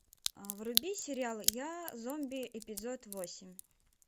вруби сериал я зомби эпизод восемь